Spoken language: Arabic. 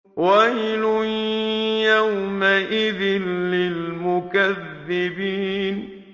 وَيْلٌ يَوْمَئِذٍ لِّلْمُكَذِّبِينَ